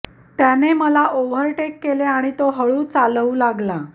त्याने मला ओव्हरटेक केले आणि तो हळू चालवू लागला